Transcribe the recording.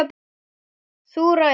Þú ræður.